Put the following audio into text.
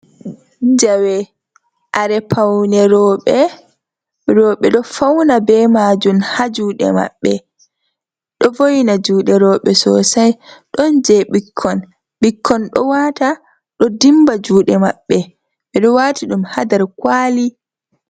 Jawe kare paune rooɓe, rooɓe do fauna be maajum ha juuɗe maɓɓe, ɗo vo'ina juuɗe rooɓe sosai, ɗon jei ɓikkon, ɓikkon ɗo waata ɗo dimba juuɗe maɓɓe, ɓe ɗo waati ɗum ha nder kwaali.